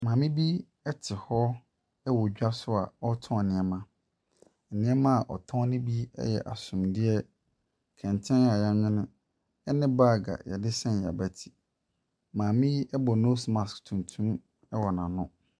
Maame bi te hɔ wɔ dwa so a ɔretɔn nneɛma. Nneɛma a ɔtɔn no bi yɛ asomdeɛ, kɛntɛn a wɔanwene ne baage a wɔde sɛm wɔabati. Maame yi bɔ nose mask tuntum wɔ n'ano.